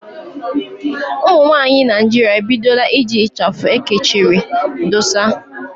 Ụmụnwaanyị Naịjirịa ebidola iji ịchafụ ekechiri dósa